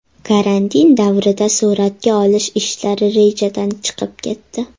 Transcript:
Karantin davrida suratga olish ishlari rejadan chiqib ketdi.